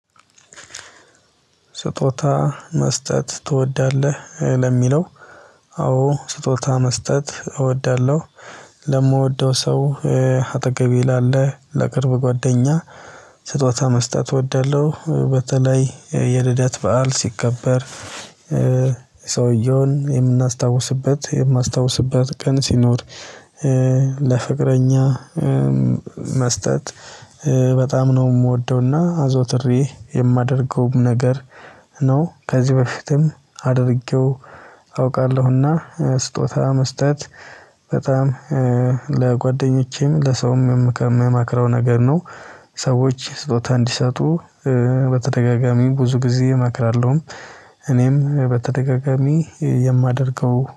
ስጦታ መስጠት ትወዳለህ ለሚለው? አዎ ስጦታ መስጠት እወዳለሁ። ለምወደው ሰው አጠገቤ ላለ ለቅርብ ጓደኛ። ስጦታ መስጠት እወዳለሁ በተለይ የልደት በዓል ሲከበር። ሰውየውን የምናስታውስበት የማስታውስበት ቀን ሲኖር። ለፍቅረኛ መስጠት በጣም ነው የምወደውና አዘውትሬ የማደርገው ነገር። ነው ከዚህ በፊትም አድርጌው አውቃለሁና። ስጦታ መስጠት በጣም ለጓደኞቼም ለሰውም ምመክረው ነገር ነው። ሰዎች ስጦታ እንዲሰጡ በተደጋጋሚ ብዙ ጊዜ እመክራለሁ። እኔም በተደጋጋሚ የማደርገው